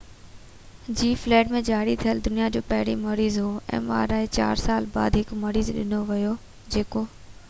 چار سال بعد هڪ مريض ڏنو ويو جيڪو mri جي فيلڊ ۾ جاري ٿيل دنيا جو پهريون مريض هو